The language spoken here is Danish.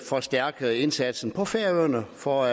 forstærkede indsatsen på færøerne for